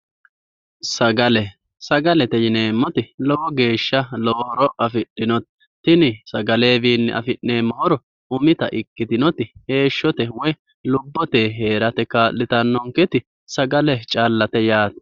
Sagale, sagalete yineemmoti lowo geeshsha lowo horo afidhino tini sagalewiinni afi'neemmo horo umita ikkitinoti heeshshote woy lubbote heerate kaa'litannonketi sagale callate yaate.